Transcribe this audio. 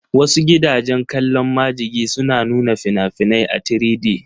Wasu gidajen kallon majigi suna nuna fina-finai a 3D